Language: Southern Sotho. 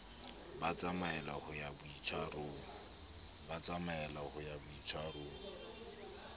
ba tsamaella ho ya boitshwarong